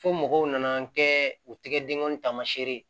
Fo mɔgɔw nana kɛ u tɛgɛ denkɔni taamasiyɛn ye